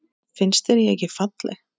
Finnst þér ég ekki falleg?